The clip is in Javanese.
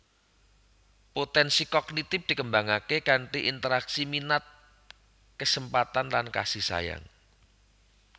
Potensi Kognitif dikembangake kanthi interaksi minat kesempatan lan kasih sayang